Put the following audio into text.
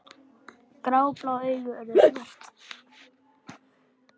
Gráblá augun urðu svört.